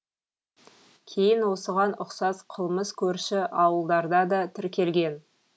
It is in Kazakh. кейін осыған ұқсас қылмыс көрші ауылдарда да тіркелген